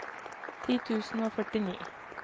ti tusen og førtini